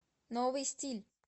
новый стиль